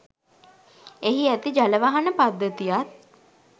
එහි ඇති ජලවහන පද්ධතියත්